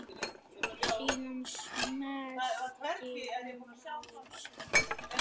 Síðan smellti hún á send.